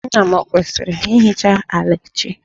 Nna m ọ kwesiri ịhicha ala echi?